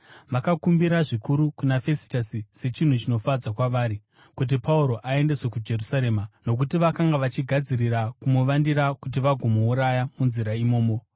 Vakakumbira zvikuru kuna Fesitasi, sechinhu chinofadza kwavari, kuti Pauro aendeswe kuJerusarema, nokuti vakanga vachigadzirira kumuvandira kuti vagomuuraya munzira imomo.